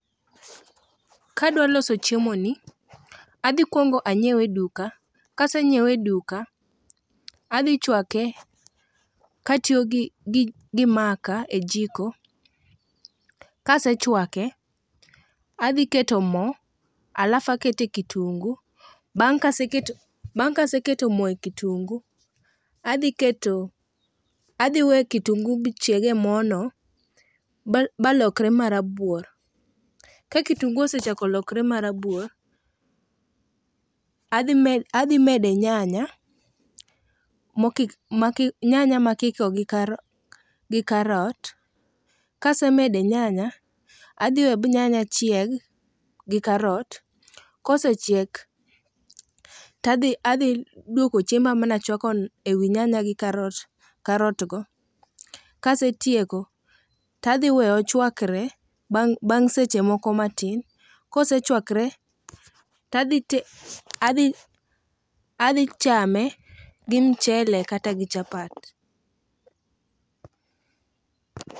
Kadwaloso chiemo ni, adhi kwongo anyiew e duka, kasenyiewe e duka, adhi chwake katiyo gi maka e jiko. Kasechwake, adhi keto mo alafu akete kitunguu. Bang' kaseketo mo e kitunguu, adhi we kitunguu bi chieg e mono ba lokre marabuor, ka kitunguu osechako lokre marabuor, adhi mede nyanya makiko gi karot, kasemede nyanya, adhi we bi nyanya chieg gi karot. Kosechiek tadhi dwoko chiemba manachwako e wi nyanya gi karotgo, kasetieko, tadhiweye ochwakre bang' seche moko matin. Kosechwakre, tadhi chame gi mchele kata gi chapat.